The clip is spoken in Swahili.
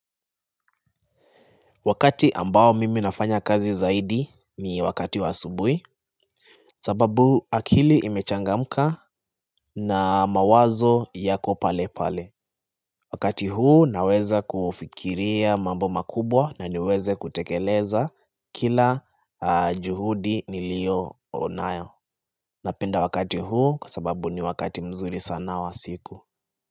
Wakati ambao mimi nafanya kazi zaidi ni wakati wa asubuhi sababu akili imechangamka na mawazo yako pale pale Wakati huu naweza kufikiria mambo makubwa na niweze kutekeleza kila juhudi nilio nayo Napenda wakati huu kwa sababu ni wakati mzuri sana wa siku.